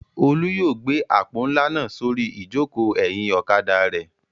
Olú yóò gbé àpò ńlá náà sórí ìjókòó ẹ̀yìn ọ̀kadà rẹ̀.